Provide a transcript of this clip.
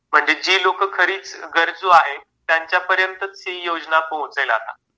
म्हणजे जे लोकं खरेच गरजू आहे, त्यांच्यापर्यंतच ही योजना पोहोचेल आता.